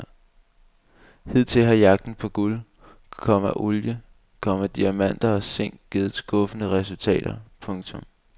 Hidtil har jagten på guld, komma olie, komma diamanter og zink givet skuffende resultater. punktum